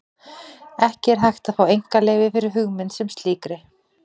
Ekki er hægt að fá einkaleyfi fyrir hugmynd sem slíkri.